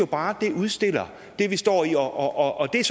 bare at det udstiller det vi står i og det er